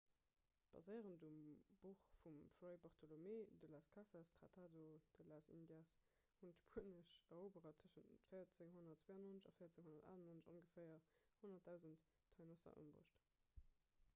baséierend um buch vum fray bartolomé de las casas tratado de las indias hunn d'spuenesch eroberer tëschent 1492 an 1498 ongeféier 100 000 taínosser ëmbruecht